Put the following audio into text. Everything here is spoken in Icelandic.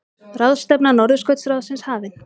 Ráðstefna Norðurskautsráðsins hafin